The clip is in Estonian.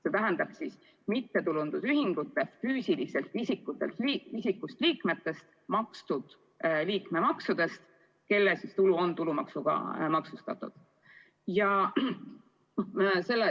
See tähendab siis nende mittetulundusühingute füüsilisest isikust liikmete makstud liikmemaksudest, kelle tulu on tulumaksuga maksustatav.